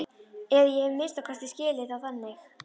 Eða ég hef að minnsta kosti skilið það þannig.